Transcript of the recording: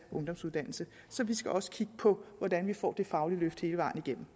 ungdomsuddannelse så vi skal også kigge på hvordan vi får det faglige løft hele vejen igennem